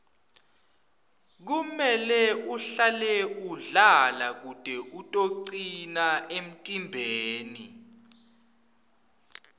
kumele uhlale udlala kute utocina emtimbeni